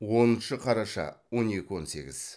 оныншы қараша он екі он сегіз